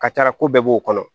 Ka taa ko bɛɛ b'o kɔnɔ